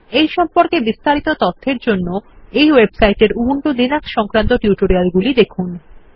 এই সম্পর্কে আরও তথ্য জানার জন্য এই ওয়েবসাইট এর উবুন্টু লিনাক্স সংক্রান্ত টিউটোরিয়ালগুলি দেখুন